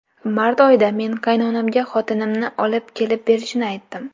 Mart oyida men qaynonamga xotinimni olib kelib berishini aytdim.